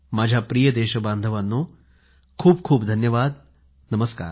माझ्या प्रिय देश बांधवांनो खूप खूप धन्यवाद नमस्कार